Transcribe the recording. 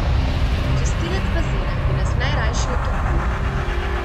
Čistilec bazena bi nas najrajši utopil.